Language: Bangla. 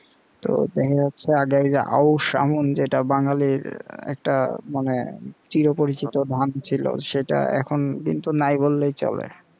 তো দেখা যাচ্ছে আগের যে আউশ আমন যেটা বাঙালির একটা মানে চিরপরিচিত ধান ছিল সেটা এখন কিন্তু নাই বললেই চলে।